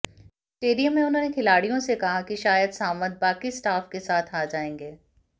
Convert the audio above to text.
stadium में उन्होंने खिलाड़ियों से कहा कि शायद सावंत बाकी स्टॉफ के साथ आ जाएंगे